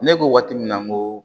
Ne ko waati min na n ko